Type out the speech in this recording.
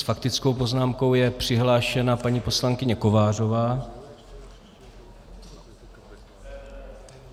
S faktickou poznámkou je přihlášena paní poslankyně Kovářová.